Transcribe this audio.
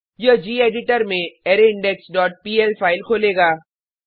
यह गेडिटर में अरायिंडेक्स डॉट पीएल फाइल खोलेगा